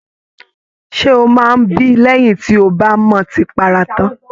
Ṣe o máa n bí lẹyìn tí o ba m'ọtí para tán?